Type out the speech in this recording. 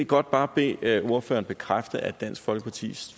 godt bare bede ordføreren bekræfte at dansk folkeparti